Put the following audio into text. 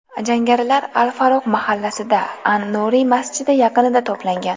Jangarilar al-Faruq mahallasida, an-Nuriy masjidi yaqinida to‘plangan.